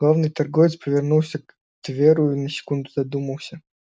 главный торговец повернулся к тверу и на секунду задумался